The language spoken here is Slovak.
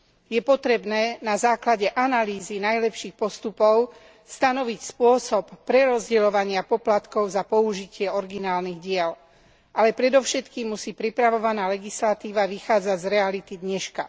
Je potrebné, na základe analýzy najlepších postupov, stanoviť spôsob prerozdeľovania poplatkov za použitie originálnych diel, ale predovšetkým musí pripravovaná legislatíva vychádzať z reality dneška.